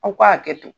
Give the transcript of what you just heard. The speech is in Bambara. Aw ka hakɛ to